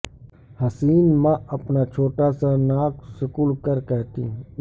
حسین ماں اپنا چھوٹا سا ناک سکیڑ کر کہتی